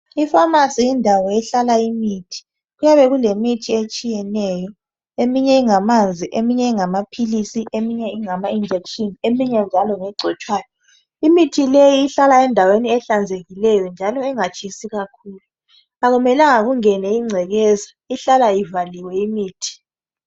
Iphamarcy yindawo ehlala imithi. Kuyabe kulemithi etshiyeneyo. Eminye ingamanzi, eminye ingamaphilisi, eminye ingama injection, eminye njalo ngegcotshwayo. Imithi leyi, ihlala endaweni ehlanzekikeyo njalo engatshisi kakhulu, Kakumelanga ingene ingcekeza. lhlala ivaliwe imithi.